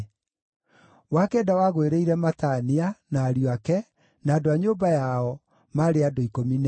wa kenda wagũĩrĩire Matania, na ariũ ake, na andũ a nyũmba yao, maarĩ andũ 12;